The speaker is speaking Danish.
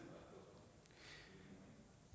i